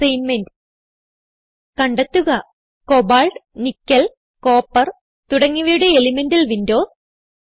assignment കണ്ടെത്തുക cobalt nickel copper തുടങ്ങിയവയുടെ elemental Windows